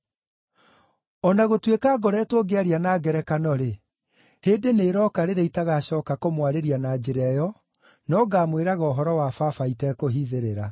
“O na gũtuĩka ngoretwo ngĩaria na ngerekano-rĩ, hĩndĩ nĩĩroka rĩrĩa itagacooka kũmwarĩria na njĩra ĩyo, no ngaamwĩraga ũhoro wa Baba itekũhithĩrĩra.